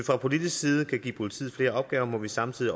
fra politisk side kan give politiet flere opgaver må vi samtidig